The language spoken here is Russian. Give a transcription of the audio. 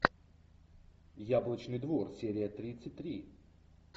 яблочный двор серия тридцать три